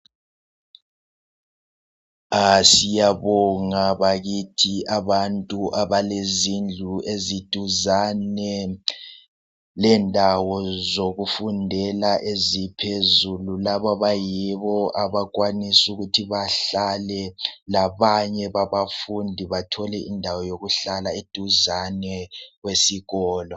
Siyabonga bakithi abantu abalezindlu eziduzane lendawo zokufundela eziphezulu. Abayibo abakwanisa ukuthi bahlale labanye babafundi bathole indawo yokuhlala eduzane lesikolo